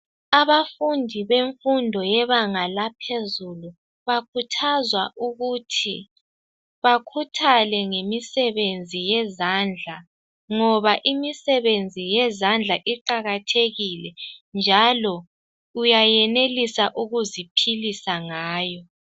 Abafundi bemfundo yebanga laphezulu bakhuthazwa ukuthi bakhuthale ngemisebenzi yezandla, ngoba imisebenzi yezandla iqakathekile njalo uyenelisa ukuziphilisa ngayo.